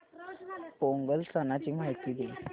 पोंगल सणाची माहिती दे